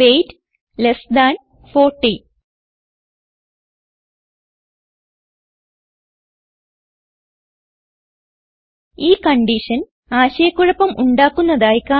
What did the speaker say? weight less than 40 ഈ condition ആശയ കുഴപ്പം ഉണ്ടാക്കുന്നതായി കാണാം